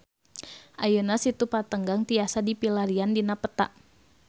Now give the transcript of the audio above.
Ayeuna Situ Patenggang tiasa dipilarian dina peta